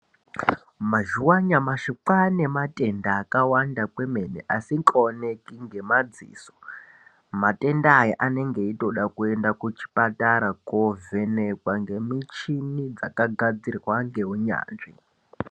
Mazuwa anyamushi kwaane matenda akawanda kwemene asingaoneki ngemadziso. Matenda aya anenge eitoda kuenda kuchibhedhlera kunondovhenekwa nemichini dzakagadzirwa ngeunyanzvi.